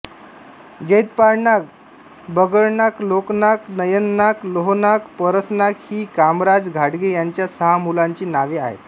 जैतपाळनाक बगडनाक लोकनाक नयननाक लोहनाक परसनाक ही कामराज घाटगे यांच्या सहा मुलांची नावे आहेत